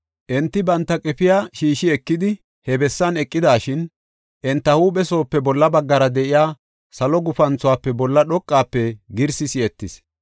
Enti banta qefiya shiishi ekidi, he bessan eqidashin, enta huuphe soope bolla baggara de7iya salo gufanthuwafe bolla dhoqafe girsi si7etis.